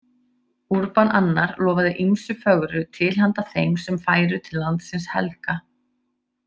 Urban II lofaði ýmsu fögru til handa þeim sem færu til landsins helga.